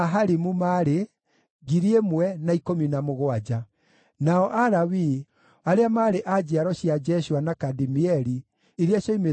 Nacio njiaro cia ndungata cia Solomoni: arĩa maarĩ a njiaro cia Sotai, na Hasoferethu, na Peruda,